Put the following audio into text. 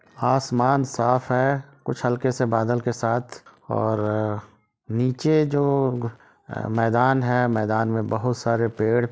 आसमान साफ़ है कुछ हलके से बदल के साथ और निचे जो मैदान है मैदान में बहुत सारे पेड़ --